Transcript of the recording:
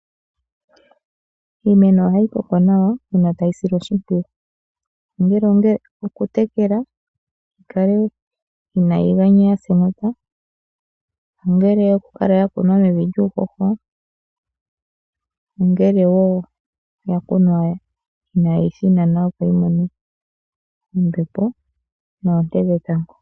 Iimeno ohayi koko nawa uuna tayi silwa oshimpwiyu. Ongele okutekelwa yi kale inayi ganya ya sa enota, ongele oku kala ya kunwa mevi lyuuhoho, ongele oya kunwa inaayi thinana, opo yi mone ombepo noonte dhetango.